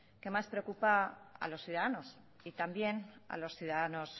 que más preocupa a los ciudadanos y también a los ciudadanos